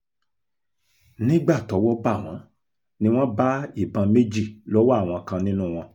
nígbà tọ́wọ́ bá wọn ni wọ́n bá ìbọn méjì lọ́wọ́ àwọn kan nínú wọn